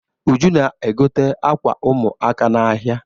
Uju na-egote ákwà ụmụaka n'ahịa.